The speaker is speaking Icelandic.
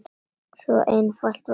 Svo einfalt var það.